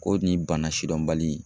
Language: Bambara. Ko nin bana sidɔnbali.